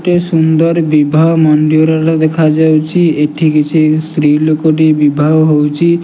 ଗୋଟେ ସୁନ୍ଦର ବିବାହ ମନ୍ଦିରର ଦେଖା ଯାଉଚି ଏଠି କିଛି ସ୍ତ୍ରୀ ଲୋକଟି ବିବାହ ହୋଉଚି।